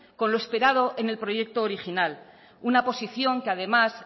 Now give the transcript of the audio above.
con lo esperado en el proyecto original una posición que además